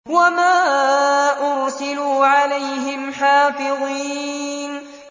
وَمَا أُرْسِلُوا عَلَيْهِمْ حَافِظِينَ